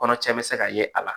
Kɔnɔtiɲɛ bɛ se ka ye a la